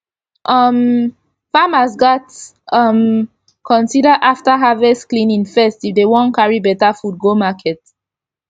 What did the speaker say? um farmers gats um consider afta harvest cleaning first if dem wan carry beta fud go market